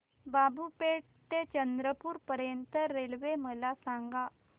बाबूपेठ ते चंद्रपूर पर्यंत रेल्वे मला सांगा